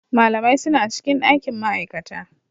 Malamai suna cikin ɗakin ma'aikata.